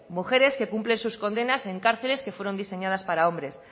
mujeres que cumplen sus condenas en cárceles que fueron diseñadas para hombres